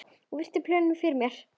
Ég virti plötuna fyrir mér.